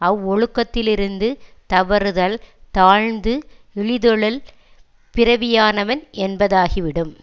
அவ்வொழுக்கத்திலிருந்து தவறுதல் தாழ்ந்து இழிதொழில் பிறவியானவன் என்பதாக்கிவிடும்